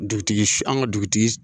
Dugutigi an ka dugutigi